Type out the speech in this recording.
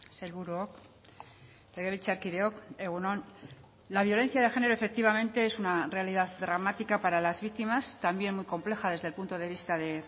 sailburuok legebiltzarkideok egun on la violencia de género efectivamente es una realidad dramática para las víctimas también muy compleja desde el punto de vista de